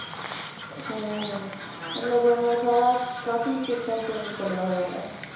ਹਮ ਹਮ ਮਤਲਬ ਸਾਰਾ ਕਾਫ਼ੀ system change ਕਰਿਆ ਹੋਇਆ ਇਹਨਾਂ ਨੇ,